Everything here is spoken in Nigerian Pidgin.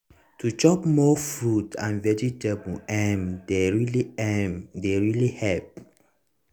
to chop more fruits and vegetables uhm dey really uhm dey really help